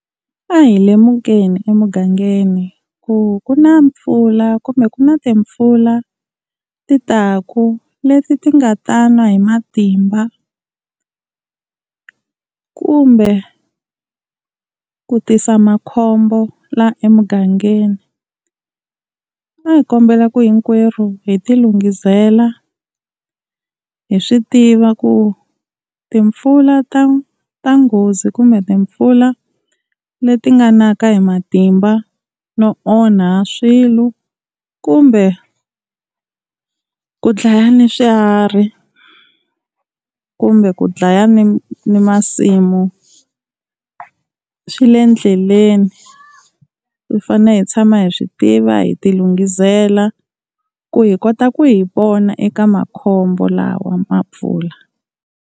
A hi lemukeni emugangeni ku ku na mpfula kumbe ku na timpfula ti taku, leti ti nga ta na hi matimba kumbe ku tisa makhombo la emugangeni. A hi kombela ku hinkwerhu hi ti lunghisela hi swi tiva ku timpfula ta ta nghozi kumbe timpfula leti nga naka hi matimba no onha swilo, kumbe ku dlaya ni swiharhi kumbe ku dlaya ni ni masimu swi le ndleleni, hi fane hi tshama hi swi tiva hi ti lunghisela ku hi kota ku hi pona eka makhombo lawa ma mpfula.